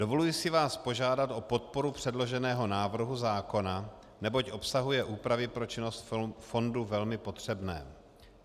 Dovoluji si vás požádat o podporu předloženého návrhu zákona, neboť obsahuje úpravy pro činnost fondu velmi potřebné.